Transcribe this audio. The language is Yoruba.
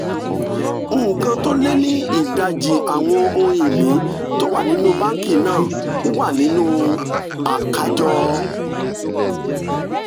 nǹkan tó lé ní ìdajì àwọn ohun ìní tó wà nínú báńkì náà wà nínú àkájọ